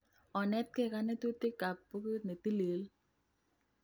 Onetge konetutik kap bukuit netilil